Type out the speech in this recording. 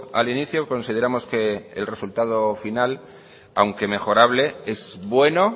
al inicio consideramos que el resultado final aunque mejorable es bueno